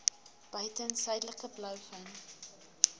buiten suidelike blouvin